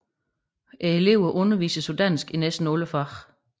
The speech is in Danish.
Eleverne undervises på dansk i næsten alle fag